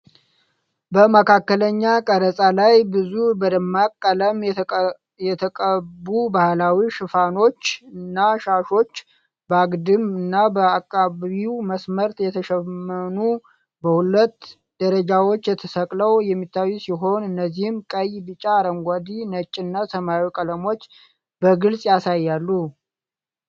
በመካከለኛ ቀረጻ ላይ፣ ብዙ በደማቅ ቀለም የተቀቡ ባህላዊ ሽፎኖችና ሻሾች በአግድም እና በአቀባዊ መስመሮች የተሸመኑ፣ በሁለት ደረጃዎች ተሰቅለው የሚታዩ ሲሆን፣ እነዚህም ቀይ፣ ቢጫ፣ አረንጓዴ፣ ነጭ እና ሰማያዊ ቀለሞችን በግልጽ ያሳያሉ።